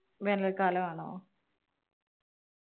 വേനൽ കാലം ആണോ?